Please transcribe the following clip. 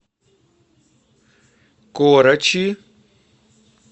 корочи